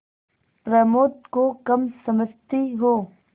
प्रमोद को कम समझती हो